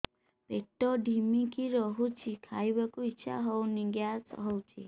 ପେଟ ଢିମିକି ରହୁଛି ଖାଇବାକୁ ଇଛା ହଉନି ଗ୍ୟାସ ହଉଚି